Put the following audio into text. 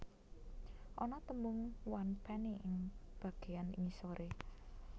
Ana tembung one penny ing bageyan ngisore